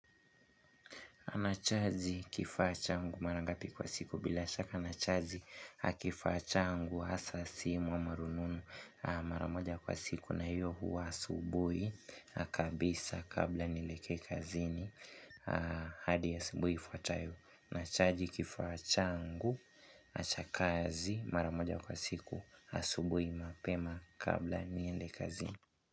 Unachaji kifaa changu marangapi kwa siku bila shaka. Nachaji kifaa changu hasa simu ama rununu mara moja kwa siku na hiyo huwa asubui kabisa kabla nielekee kazini hadi asubui ifuatayo nachaji kifaa changu na cha kazi mara moja kwa siku asubui mapema kabla niende kazini.